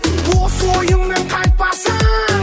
осы ойыңнан қайтпасаң